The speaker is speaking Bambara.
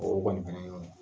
O kɔni fɛnɛ y'o ɲɛ.